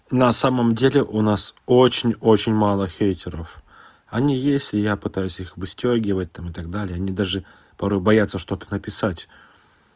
на самом деле у нас очень очень мало врагов они есть и я пытаюсь их выстёгивать там и так далее они даже парой боятся что-то написать